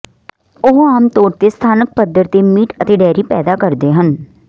ਉਹ ਆਮ ਤੌਰ ਤੇ ਸਥਾਨਕ ਪੱਧਰ ਤੇ ਮੀਟ ਅਤੇ ਡੇਅਰੀ ਪੈਦਾ ਕਰਦੇ ਹਨ